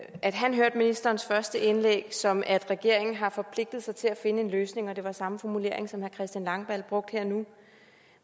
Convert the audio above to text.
at han hørte ministerens første indlæg som at regeringen har forpligtet sig til at finde en løsning og det var samme formulering som herre christian langballe brugte her nu